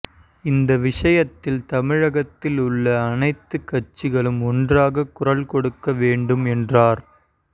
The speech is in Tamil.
இந்த விஷயத்தில் தமிழகத்தில் உள்ள அனைத்துக் கட்சிகளும் ஒன்றாகக் குரல் கொடுக்க வேண்டும் என்றார்